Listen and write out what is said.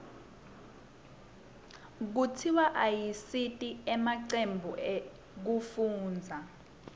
kutiswa ayasita emacembu ekufundza